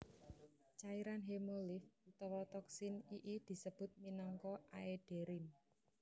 Cairan hemolimf utawa toksin ii disebut minangka aederin